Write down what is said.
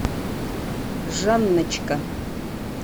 жанночка